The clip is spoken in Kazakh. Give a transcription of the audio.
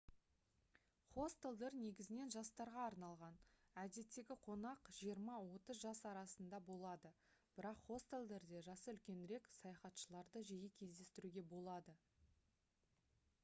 хостелдер негізінен жастарға арналған әдеттегі қонақ жиырма-отыз жас арасында болады бірақ хостелдерде жасы үлкенірек саяхатшыларды жиі кездестіруге болады